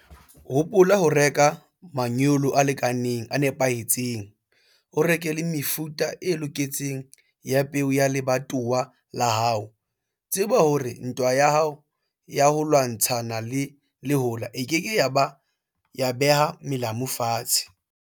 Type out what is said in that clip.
Hopola ho reka manyolo a lekaneng, a nepahetseng. O reke le mefuta e loketseng ya peo ya lebatowa la hao. Tseba hore ntwa ya ho lwantshana le lehola e ke ke ya beha melamu fatshe.